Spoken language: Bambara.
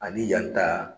Ani yan ta